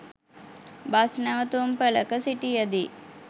bus නැවතුම්පළක සිටියදී